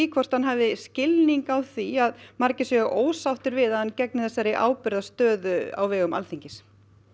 hvort hann hafi skilning á því að margir séu ósáttir við að hann gegni þessari ábyrgðarstöðu á vegum Alþingis